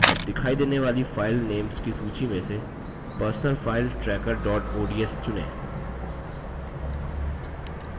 अब दिखाई देने वाली file names की सूची में से personal finance tracker dot ods चुनें